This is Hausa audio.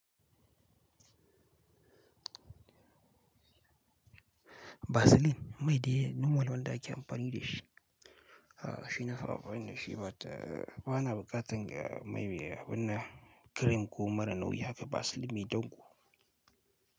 Vaseline, mai dai normal wanda ake amfani da shi. A'a shi na fara amfani da shi bata, bana bukatan ga mai abin nan cream ko mara nauyi haka Vaseline mai danko.